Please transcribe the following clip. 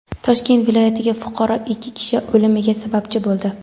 Toshkent viloyatida fuqaro ikki kishi o‘limiga sababchi bo‘ldi.